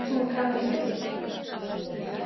Hún kann ekki að elda.